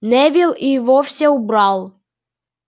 невилл и вовсе убрал